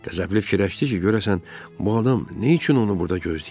Qəzəbli fikirləşdi ki, görəsən bu adam nə üçün onu burda gözləyir?